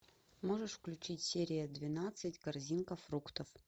можешь включить серия двенадцать корзинка фруктов